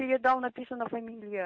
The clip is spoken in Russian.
передал написана фамилия